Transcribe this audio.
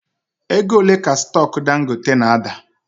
Ego ole ka stock Dangote na ada?